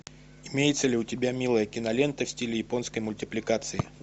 имеется ли у тебя милая кинолента в стиле японской мультипликации